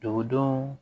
Dugudenw